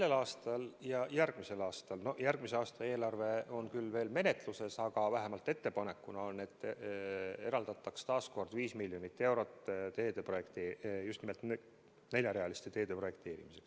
Sel aastal ja järgmisel aastal –järgmise aasta eelarve on küll veel menetluses, aga vähemalt ettepanek on selline – eraldataks taas 5 miljonit eurot just nimelt neljarealiste teede projekteerimiseks.